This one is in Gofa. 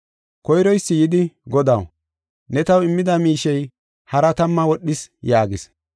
“Koyroysi yidi, ‘Godaw, ne taw immida miishey haraa tamma wodhis’ yaagis.